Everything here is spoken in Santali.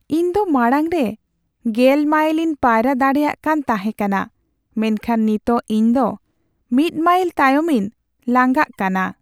ᱤᱧ ᱫᱚ ᱢᱟᱲᱟᱝ ᱨᱮ ᱑᱐ ᱢᱟᱭᱤᱞᱤᱧ ᱯᱟᱭᱨᱟ ᱫᱟᱲᱮᱭᱟᱜ ᱠᱟᱱ ᱛᱟᱦᱮᱠᱟᱱᱟ ᱢᱮᱱᱠᱷᱟᱱ ᱱᱤᱛᱚᱜ ᱤᱧ ᱫᱚ ᱑ ᱢᱟᱭᱤᱞ ᱛᱟᱭᱚᱢᱤᱧ ᱞᱟᱝᱜᱟᱜ ᱠᱟᱱᱟ ᱾